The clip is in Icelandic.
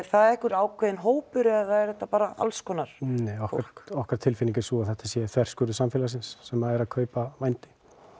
það einhver ákveðinn hópur eða er þetta alls konar okkar tilfinning er sú að þetta sé þverskurður samfélagsins sem er að kaupa vændi